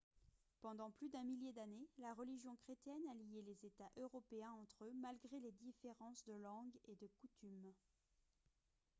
pendant plus d'un millier d'années la religion chrétienne a lié les états européens entre eux malgré les différences de langue et de coutumes